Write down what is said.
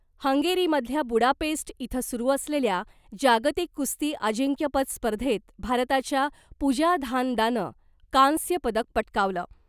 हंगेरीमधल्या Budapest इथं सुरु असलेल्या जागतिक कुस्ती अजिंक्यपद स्पर्धेत भारताच्या पूजा धानदानं कांस्य पदक पटकावलं .